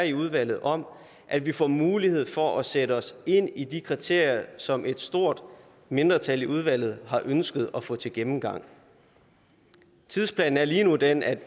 i udvalget om at vi får mulighed for at sætte os ind i de kriterier som et stort mindretal i udvalget har ønsket at få til gennemgang tidsplanen er lige nu den at